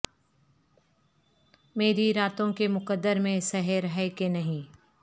میری راتو ں کے مقدر میں سحر ہے کہ نہیں